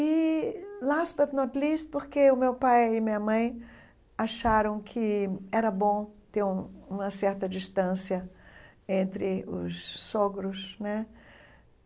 E, porque o meu pai e minha mãe acharam que era bom ter um uma certa distância entre os sogros né.